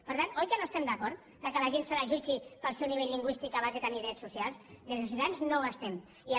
per tant oi que no estem d’acord que la gent se la jutgi pel seu nivell lingüístic abans de tenir drets socials des de ciutadans no hi estem d’acord